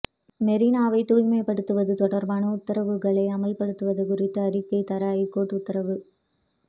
மெரினாவை தூய்மைப்படுத்துவது தொடர்பான உத்தரவுகளை அமல்படுத்தியது குறித்து அறிக்கை தர ஐகோர்ட் உத்தரவு